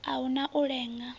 a hu na u lenga